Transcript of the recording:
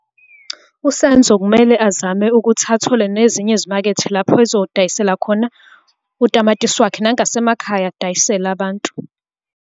USenzo kumele azame ukuthi athole nezinye izimakethe lapho azodayisela khona utamatisi wakhe, nangasemakhaya adayisele abantu.